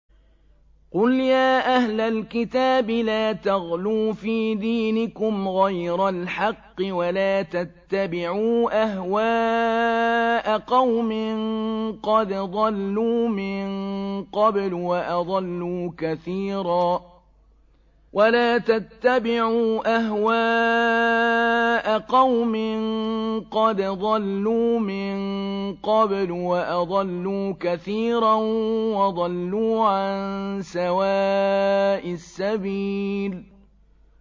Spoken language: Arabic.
قُلْ يَا أَهْلَ الْكِتَابِ لَا تَغْلُوا فِي دِينِكُمْ غَيْرَ الْحَقِّ وَلَا تَتَّبِعُوا أَهْوَاءَ قَوْمٍ قَدْ ضَلُّوا مِن قَبْلُ وَأَضَلُّوا كَثِيرًا وَضَلُّوا عَن سَوَاءِ السَّبِيلِ